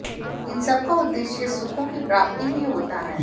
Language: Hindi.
इन सबका उद्देश्य सुखों की प्राप्ति ही होता है